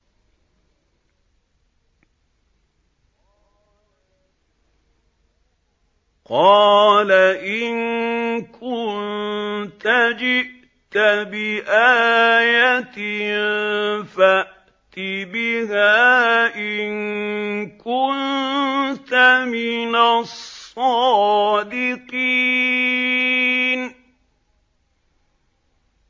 قَالَ إِن كُنتَ جِئْتَ بِآيَةٍ فَأْتِ بِهَا إِن كُنتَ مِنَ الصَّادِقِينَ